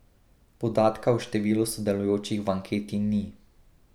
Podatka o številu sodelujočih v anketi ni.